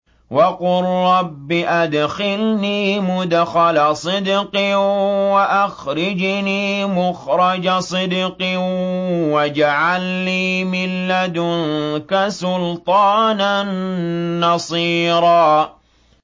وَقُل رَّبِّ أَدْخِلْنِي مُدْخَلَ صِدْقٍ وَأَخْرِجْنِي مُخْرَجَ صِدْقٍ وَاجْعَل لِّي مِن لَّدُنكَ سُلْطَانًا نَّصِيرًا